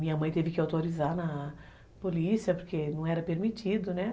Minha mãe teve que autorizar na polícia, porque não era permitido, né?